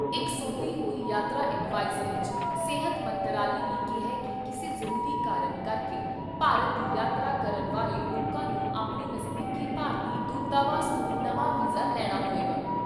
ਇਕ ਸੋਧੀ ਹੋਈ ਯਾਤਰਾ ਐਡਵਾਇਜਰੀ 'ਚ ਸਿਹਤ ਮੰਤਰਾਲੇ ਨੇ ਕਿਹਾ ਕਿ ਕਿਸੇ ਜ਼ਰੂਰੀ ਕਾਰਨ, ਕਰਕੇ ਭਾਰਤ ਦੀ ਯਾਤਰਾ ਕਰਨ ਵਾਲੇ ਲੋਕਾਂ ਨੂੰ ਆਪਣੇ ਨਜਦੀਕੀ ਭਾਰਤੀ ਦੂਤਾਵਾਸ ਤੋਂ ਨਵਾਂ ਵੀਜ਼ਾ ਲੈਣਾ ਹੋਏਗਾ।